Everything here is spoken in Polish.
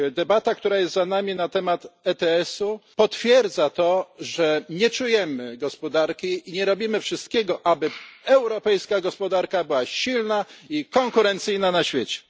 Debata na temat ETS u potwierdza to, że nie czujemy gospodarki i nie robimy wszystkiego, aby europejska gospodarka była silna i konkurencyjna na świecie.